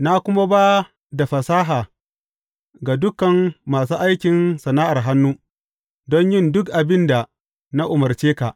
Na kuma ba da fasaha ga dukan masu aikin sana’ar hannu, don yin duk abin da na umarce ka.